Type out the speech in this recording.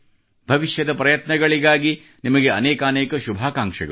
ಭವಿಷ್ಯದ ಪ್ರಯತ್ನಗಳಿಗಾಗಿ ನಿಮಗೆ ಅನೇಕಾನೇಕ ಶುಭಾಕಾಂಕ್ಷೆಗಳು